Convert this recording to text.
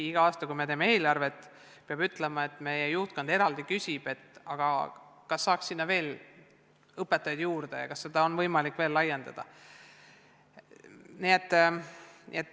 Igal aastal, kui me teeme eelarvet, küsib meie juhtkond eraldi, kas saaks sinna veel õpetajaid juurde ja kas seda kõike on võimalik veel laiendada.